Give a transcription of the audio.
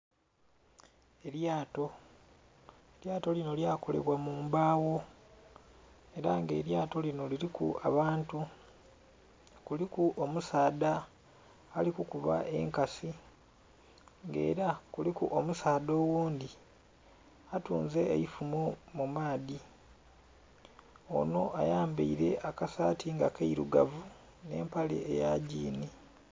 Elyato, elyato linho lyakolebwa mu mbawo ela nga elyato lino liriku abantu, kuliku omusaadha ali kukuba enkasi nga ela kuliku omusaadha oghundhi atunze eifumo mu maadhi ono ayambaile akasaati nga kailugavu n'empale eya gyiini.